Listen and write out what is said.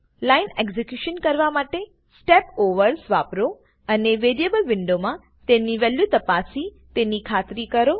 line execution કરવા માટે step overs વાપરો અને વેરીએબલ વિન્ડો માં તેની વેલ્યુ તપાસી તેની ખાતરી કરો